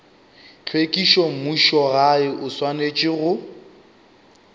tlhwekišo mmušogae o swanetše go